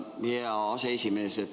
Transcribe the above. Tänan, hea aseesimees!